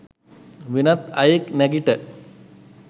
වෙනත් අයෙක් නැගිට